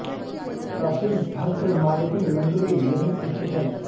प्रसिद्ध भद्र मारुति मंदिर भी यहीं स्थित है